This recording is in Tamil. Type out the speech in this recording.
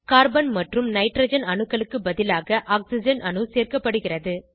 கார்பன் மற்றும் ஹைட்ரஜன் அணுக்களுக்கு பதிலாக ஆக்ஸிஜன் அணு சேர்க்கப்படுகிறது